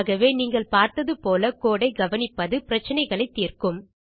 ஆகவே நீங்கள் பார்த்தது போல கோடு ஐ கவனிப்பது பிரச்சினைகளை தீர்க்கும்